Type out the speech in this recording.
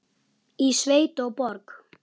Í sveit og borg.